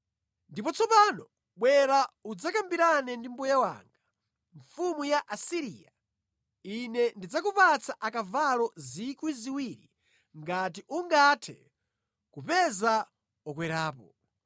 “ ‘Ndipo tsopano bwera udzakambirane ndi mbuye wanga, mfumu ya ku Asiriya: ine ndidzakupatsa akavalo 2,000 ngati ungathe kupeza okwerapo!